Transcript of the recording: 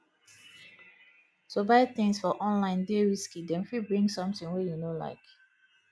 to buy tins for online dey risky dem fit bring sometin wey you no like